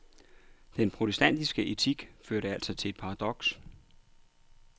Den protestantiske etik førte altså til et paradoks.